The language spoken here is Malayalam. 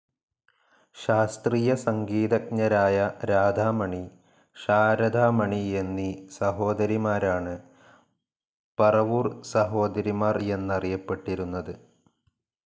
ശാസ്ത്രീയ സംഗീതജ്ഞരായ രാധാമണി, ശാരദാമണി എന്നീ സഹോദരിമാരാണ് പറവൂർ സഹോദരിമാർ എന്നറിയപ്പെട്ടിരുന്നത്.